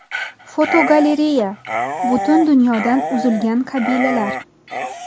Fotogalereya: Butun dunyodan uzilgan qabilalar.